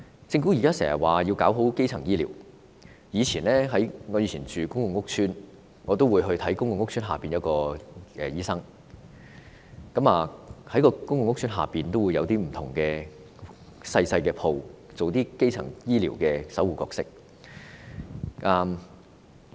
政府經常說要做好基層醫療，我以前住公共屋邨時會到屋邨診所求診，屋邨有些小商鋪會租予診所，擔當基層醫療守護者的角色。